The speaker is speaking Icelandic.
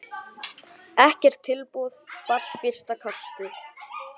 Ekkert tilboð barst fyrsta kastið.